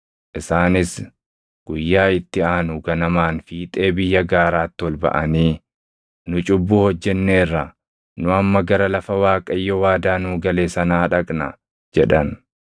Isaanis guyyaa itti aanu ganamaan fiixee biyya gaaraatti ol baʼanii, “Nu cubbuu hojjenneerra; nu amma gara lafa Waaqayyo waadaa nuu gale sanaa dhaqna” jedhan.